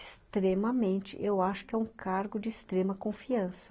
Extremamente, eu acho que é um cargo de extrema confiança.